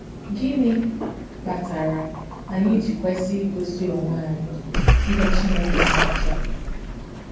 Gịnị kpatara anyị ji kwesị igosi onwe anyị ihe Chineke na-achọ?